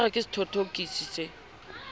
o ka re sethothokisi se